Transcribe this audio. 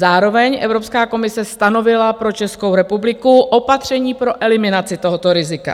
Zároveň Evropská komise stanovila pro Českou republiku opatření pro eliminaci tohoto rizika.